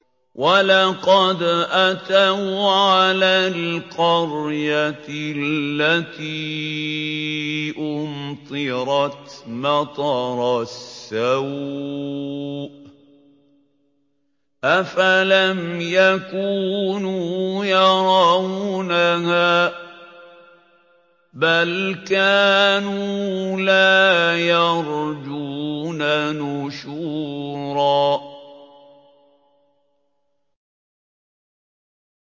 وَلَقَدْ أَتَوْا عَلَى الْقَرْيَةِ الَّتِي أُمْطِرَتْ مَطَرَ السَّوْءِ ۚ أَفَلَمْ يَكُونُوا يَرَوْنَهَا ۚ بَلْ كَانُوا لَا يَرْجُونَ نُشُورًا